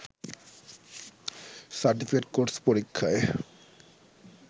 certificate course পরীক্ষায়